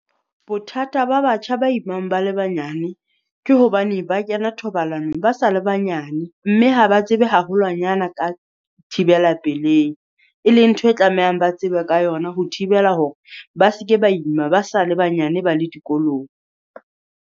Bothata ba batjha ba imang ba le banyane, ke hobane ba kena thobalanong ba sa le banyane. Mme ha ba tsebe haholwanyane ka thibela pelehi, e leng ntho e tlamehang ba tsebe ka yona ho thibela hore ba se ke ba ima ba sa le banyane ba le dikolong.